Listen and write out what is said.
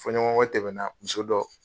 Fɔɲɔgɔn kɔ tɛmɛna muso dɔ